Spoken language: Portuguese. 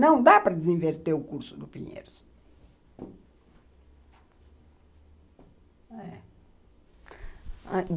Não dá para desinverter o curso do Pinheiros.